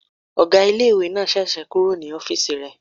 Ọgá ilé-ìwé náà sẹ̀sẹ̀ kúrò ní ọ́fìsì rẹ̀